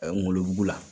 ngolo mugu la